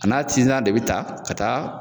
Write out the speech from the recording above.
A n'a tinsan de bɛ ta ka ta